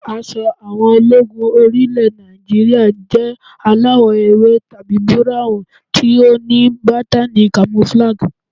Aṣọ àwọn ológun orí ilẹ̀ Nàìjíríà jẹ́ aláwọ̀ ewé tàbí búráhùn tí ó ní bátàni kamofúlàgì